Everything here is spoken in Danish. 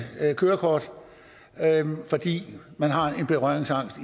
kørekort fordi man har en berøringsangst